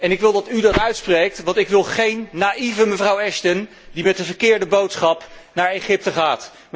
Ik wil dat u dat uitspreekt, want ik wil geen naïeve mevrouw Ashton, die met de verkeerde boodschap naar Egypte gaat.